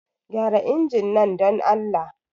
Gyara injin nan, don Allah.